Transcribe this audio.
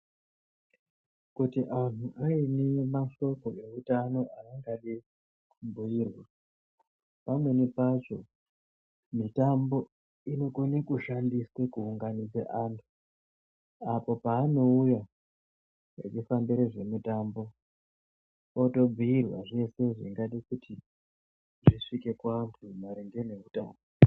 Kuti antu ane mashoko eutano aangade kubhuya pamweni pacho mitambo inokona kushandiswa kuunganidze antu apo paanouya achifambire zvemutambo otobhuirwe zveshe zvingade kuzi zvisvike kuantu maringe neutano.